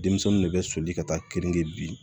Denmisɛnninw de bɛ soli ka taa kenige bi